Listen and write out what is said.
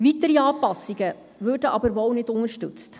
Weitere Anpassungen würden wohl aber nicht unterstützt.